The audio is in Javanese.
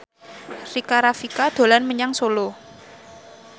Rika Rafika dolan menyang Solo